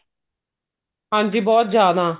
ਹਾਂਜੀ ਬਹੁਤ ਜਿਆਦਾ